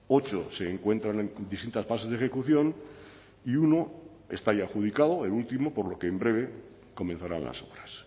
ocho se encuentran en distintas fases de ejecución y uno está ya adjudicado el último por lo que en breve comenzarán las obras